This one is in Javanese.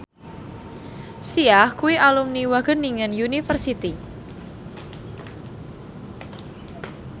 Sia kuwi alumni Wageningen University